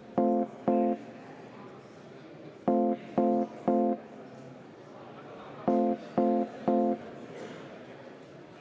Aitäh, lugupeetud